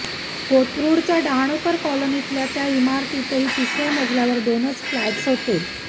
कोथरूडच्या डहाणूकर कॉलनीतल्या त्या इमारतीत तिसऱ्या मजल्यावर दोनच फ्लॅटस होते